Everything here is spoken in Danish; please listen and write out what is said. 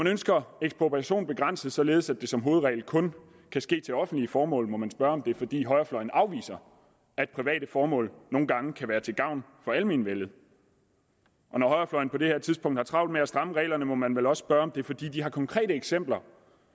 ønsker ekspropriation begrænset således at det som hovedregel kun kan ske til offentlige formål må man spørge om det er fordi højrefløjen afviser at private formål nogle gange kan være til gavn for almenvellet og når højrefløjen på det her tidspunkt har travlt med at stramme reglerne må man vel også spørge om det er fordi de har konkrete eksempler